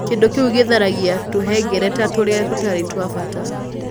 Kĩndũ kĩu gĩtharagia tũhengereta tũrĩa tũtarĩ twa bata.